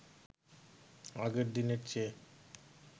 আগের দিনের চেয়ে